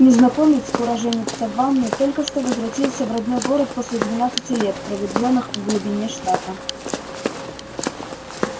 незнакомец уроженец саванны только что возвратился в родной город после двенадцати лет проведённых в глубине штата